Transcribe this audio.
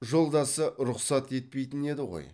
жолдасы рұқсат етпейтін еді ғой